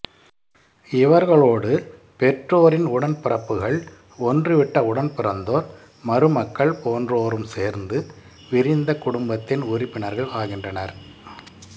இவர்களோடு பெற்றோரின் உடன்பிறப்புகள் ஒன்றுவிட்ட உடன்பிறந்தோர் மருமக்கள் போன்றோரும் சேர்ந்து விரிந்த குடும்பத்தின் உறுப்பினர்கள் ஆகின்றனர்